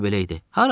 Həmişə belə idi.